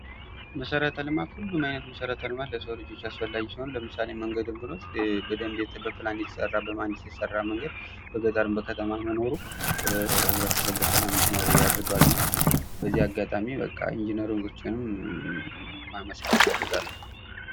መሰረተ ልማት ሁሉም አይነት መሰረተ ልማት ለሰው ልጆች አስፈላጊ ሲሆኑ ለምሳሌ መንገድን ብኖስድ በደንብ በፕላን የተሰራ በመሃንዲስ የተሰራ መንገድ በገጠርም በከተማም መኖሩ ህብረተሰቡ በሰላም እንዲኖር ያደርገዋል በዚህ አጋጣሚ ኢንጅነሮችም ማመስገን እፈልጋለሁ።